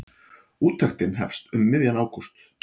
Úttektin hefst um miðjan ágúst.